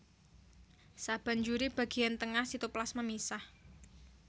Sabanjuré bagéyan tengah sitoplasma misah